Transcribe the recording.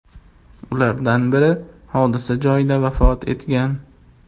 Ulardan biri hodisa joyida vafot etgan.